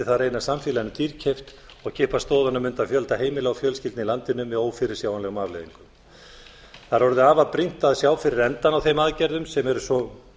mundi það reynast samfélaginu dýrkeypt og kippa stoðunum undan fjölda heimila og fjölskyldna í landinu með ófyrirsjáanlegum afleiðingum það er orðið afar brýnt að sjá fyrir endann á þeim aðgerðum sem eru svo